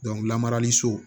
lamarali so